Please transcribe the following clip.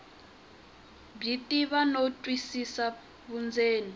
byi tiva no twisisa vundzeni